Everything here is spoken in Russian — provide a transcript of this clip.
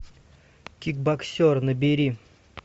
кикбоксер набери